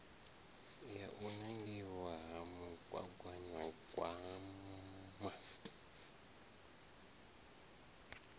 ya u nangiwa ha mugaganyagwama